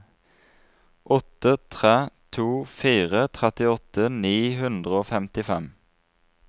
åtte tre to fire trettiåtte ni hundre og femtifem